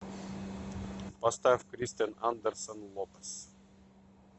поставь кристен андерсон лопез